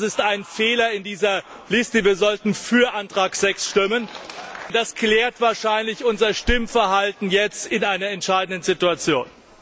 Das ist ein Fehler in dieser Liste. Wir sollten für Antrag 6 stimmen, und das klärt wahrscheinlich unser Stimmverhalten jetzt in einer entscheidenden Situation.